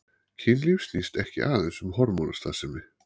Kynlíf snýst ekki aðeins um hormónastarfsemi.